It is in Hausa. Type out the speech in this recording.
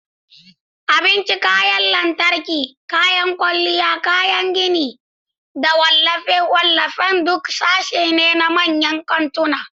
Abinci, kayan lantarki, kayan kwalliya, kayan gini, da wallafe-wallafen duk sashe ne na manyan kantuna.